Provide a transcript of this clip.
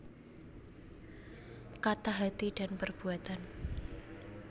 Kata Hati dan Perbuatan